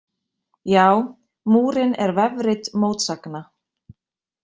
Já, Múrinn er vefrit mótsagna!